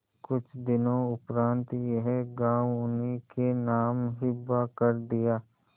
कुछ दिनों उपरांत यह गॉँव उन्हीं के नाम हिब्बा कर दिया